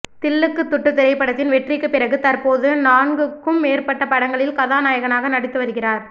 தில்லுக்கு துட்டு திரைப்படத்தின் வெற்றிக்கு பிறகு தற்போது நான்குக்கும் மேற்பட்ட படங்களில் கதாநாயகனாக நடித்து வருகிறார்